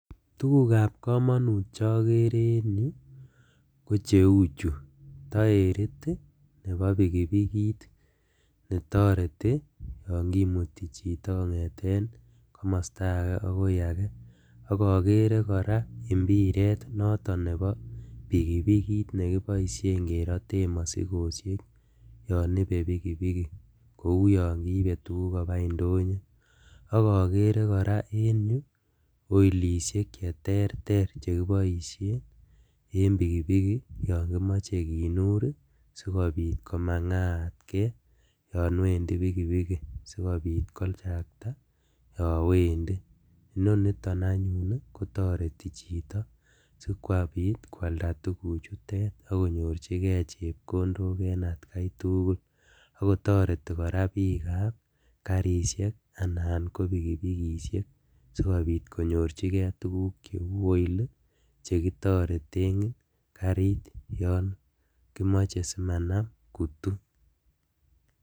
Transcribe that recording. Tugukab komonut chokere en yu kocheuchu toerit ii nebo pikipikit netoreti yon kimuti chito kongeten komostoagee akoi akee, ok okere koraa imbiret noton nebo pikipikit nekeboisien keroten mosikosiek yon ibe pikipiki kou yon kiibe tuguk kobaa indonyo, okere koraa en yu oilisiek cheterter cheboisie en pikipiki yon kimoe kinur sikobit komangaat kee yon wendi pikipiki sikobit kochakta yon wendi, inoniton anyun kotoreti chito sikobit kwalda tuguchutet ak konyorjigee chepkondok en atkatugul akotoreti koraa bikab kasisiek anan ko pikipikisiek sikobit konyorjigee tuguk cheu oil ii chekitoreten karit yon kimoe simanan kutu[c].